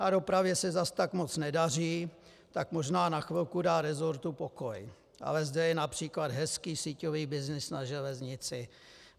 A dopravě se zas tak moc nedaří, tak možná na chvilku dá resortu pokoj, ale zde je například hezký síťový byznys na železnici.